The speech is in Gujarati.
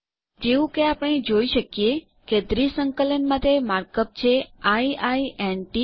જેવું કે આપણે જોઈ શકીએ કે દ્વિસંકલન માટે માર્ક અપ છે આઇ આઇ ન ટી